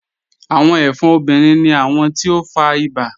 Awọn ẹfọ́n obìnrin ni awọn ti o fá ìbà.